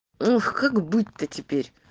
ох как быть-то теперь